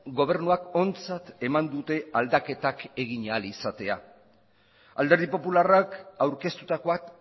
gobernuak ontzat eman dute aldaketak egin ahal izatea alderdi popularrak aurkeztutakoak